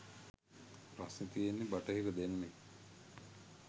ප්‍රශ්නෙ තියෙන්නෙ බටහිර දැනුමෙ